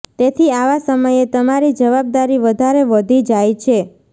તેથી આવા સમયે તમારી જવાબદારી વધારે વધી જાય છે